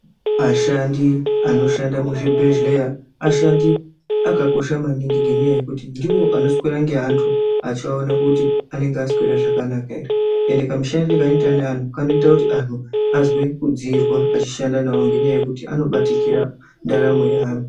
Ashandi anoshanda muzvibhedhlera ashandi akakosha maningi ngenyaya yekuti ndiwo akoswera nenatu achivaona kuti vanenge vaswera zvaknaka ere ende kamushandiro kainoita nevantu kanoita kuti antu anzwe kudziirwa achishanda nawo ngekuti anobatikira ndaramo yeantu.